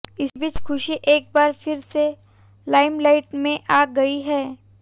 इसी बीच खुशी एक बार फिर से लाइमलाइट में आ गई हैं